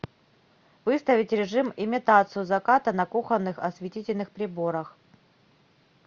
выставить режим имитацию заката на кухонных осветительных приборах